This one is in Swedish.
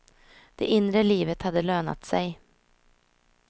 Det inre livet hade lönat sig.